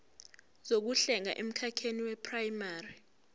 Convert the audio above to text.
zokuhlenga emkhakheni weprayimari